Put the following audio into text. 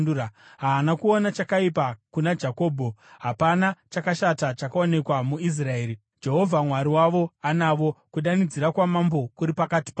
“Haana kuona chakaipa kuna Jakobho, hapana chakashata chakaonekwa muIsraeri. Jehovha Mwari wavo anavo; kudanidzira kwaMambo kuri pakati pavo.